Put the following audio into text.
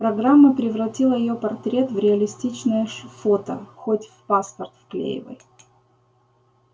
программа превратила её портрет в реалистичное фото хоть в паспорт вклеивай